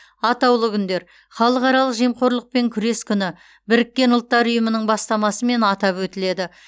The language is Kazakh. атаулы күндер халықаралық жемқорлықпен күрес күні біріккен ұлттар ұйымының бастамасымен атап өтіледі